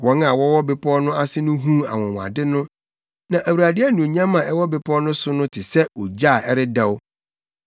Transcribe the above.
Wɔn a wɔwɔ bepɔw no ase no huu anwonwade no. Na Awurade anuonyam a ɛwɔ bepɔw no so no te sɛ ogya a ɛredɛw.